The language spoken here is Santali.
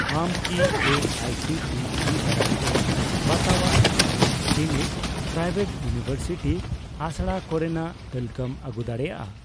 ᱟᱢ ᱠᱤ A I C T E ᱫᱟᱨᱟᱭᱛᱮ ᱵᱟᱛᱟᱣᱟᱜ ᱥᱟᱱᱟᱢ ᱰᱤᱢᱰ ᱯᱨᱟᱭᱵᱷᱮᱴ ᱤᱭᱩᱱᱤᱣᱮᱨᱥᱤᱴᱤ ᱟᱥᱲᱟ ᱠᱚᱨᱮᱱᱟᱜ ᱛᱟᱞᱠᱟᱹᱢ ᱟᱹᱜᱩ ᱫᱟᱲᱮᱭᱟᱜᱼᱟ ?